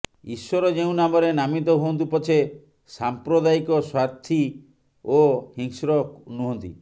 ଈଶ୍ୱର ଯେଉଁ ନାମରେ ନାମିତ ହୁଅନ୍ତୁ ପଛେ ସାଂପ୍ରଦାୟିକ ସ୍ୱାର୍ଥୀ ଓ ହିଂସ୍ର ନୁହନ୍ତି